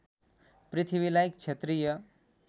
पृथ्वीलाई क्षत्रिय